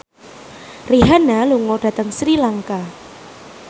Rihanna lunga dhateng Sri Lanka